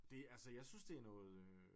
Det altså jeg synes det er noget